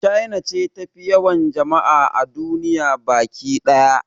China ce tafi yawan jama'a a duniya baki ɗaya